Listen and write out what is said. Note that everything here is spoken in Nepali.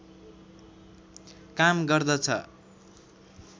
काम गर्दछ